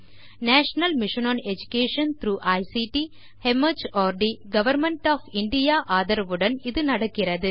national mission on education through ICT mart government of India இதனை ஆதரிக்கிறது